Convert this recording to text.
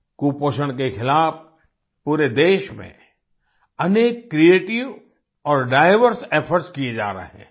कुपोषण के खिलाफ पूरे देश में अनेक क्रिएटिव और डाइवर्स इफोर्ट्स किए जा रहे हैं